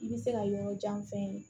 I bɛ se ka yɔrɔ jan fɛn